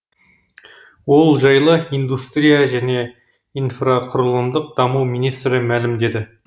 ол жайлы индустрия және инфрақұрылымдық даму министрі мәлімдеді